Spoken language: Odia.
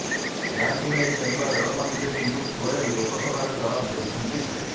ଏହାକୁ ନେଇ କେନ୍ଦ୍ର ରେଳମନ୍ତ୍ରୀ ପିୟୁଷ ଗୋଏଲ ଲୋକସଭାରେ ଜବାବ ଦେଇଛନ୍ତି